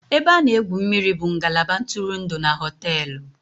Ebe a na-egwu mmiri bụ ngalaba ntụrụndụ na hóteélụ̀